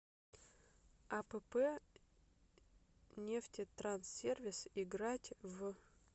апп нефтетранссервис играть в